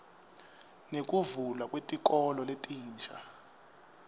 nekuvulwa kwetikolo letinsha